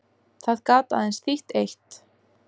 Það gat aðeins þýtt eitt.